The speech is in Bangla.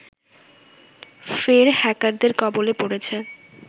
ফের হ্যাকারদের কবলে পড়েছে